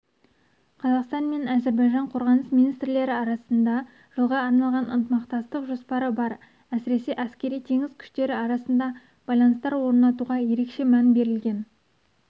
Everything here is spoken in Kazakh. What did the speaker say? қазақстан мен әзербайжан қорғаныс министрліктері арасында жылға арналған ынтымақтастық жоспары бар әсіресе әскери теңіз күштері арасында байланыстар орнатуға ерекше мән берілген